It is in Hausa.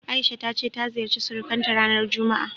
A'isha ta ce ta ziyarci surukanta ranar juma'a.